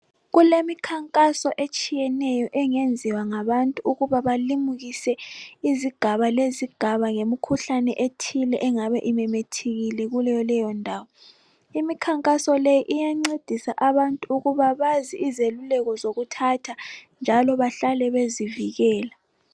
Kulemikhankaso etshiyeneyo engenziwa ngabantu ukuba balimukise izigaba lezigaba ngemikhuhlane ethile engabe imemethekile kuleyondawo. Imikhankaso le iyancedisa abantu ukuba bazi izeluleko zokuthatha njalo bahlale bezivikela.